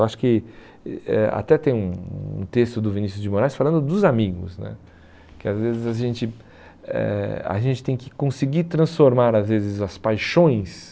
Eu acho que eh eh até tem um um texto do Vinícius de Moraes falando dos amigos né, que às vezes a gente eh tem a gente que conseguir transformar às vezes as paixões,